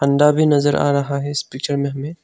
अंडा भी नजर आ रहा है इस पिक्चर में हमें।